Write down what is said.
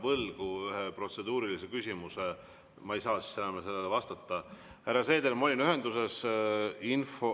Venemaa naaber, soovivad investorid maksimaalset kindlust, et nende investeeringud ei satuks Venemaa sõjaväe hävitustöö alla.